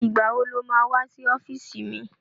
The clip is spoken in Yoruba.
Ìgbà wo lo má wá sí ọ́fíìsì mi?